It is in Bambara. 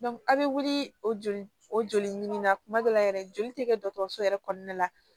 a bɛ wuli o joli o joli ɲini na tuma dɔ la yɛrɛ joli tɛ kɛ dɔgɔtɔrɔso yɛrɛ kɔnɔna la